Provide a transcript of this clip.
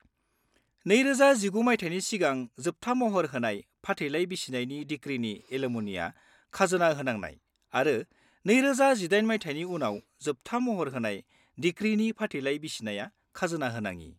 -2019 मायथाइनि सिगां जोबथा महर होनाय फाथैलाइ बिसिनायनि डिक्रीनि एलिम'निया खाजोना होनांनाय आरो 2018 मायथाइनि उनाव जोबथा महर होनाय डिक्रीनि फाथैलाइ बिसिनाया खाजोना होनाङि।